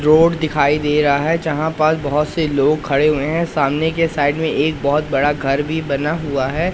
Road दिखाई दे रहा है जहां पास बहोत से लोग खड़े हुए हैं सामने के साइड में एक बहोत बड़ा घर भी बना हुआ है।